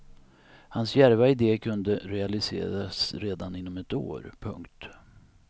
Hans djärva ide kunde realiseras redan inom ett år. punkt